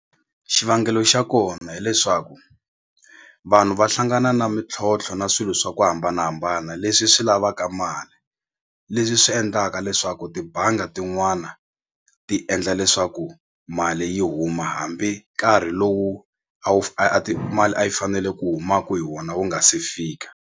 Xivangelo xa kona hileswaku vanhu va hlangana na mintlhontlho na swilo swa ku hambanahambana leswi swi lavaka mali leswi swi endlaka leswaku tibanga tin'wana ti endla leswaku mali yi huma hambi nkarhi lowu a wu mali a yi fanele ku humaka hi wona wu nga se fika.